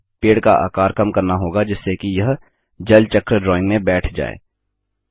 अब हमें पेड़ का आकार कम करना होगा जिससे कि यह जल चक्र ड्राइंग में बैठ जाये